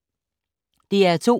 DR2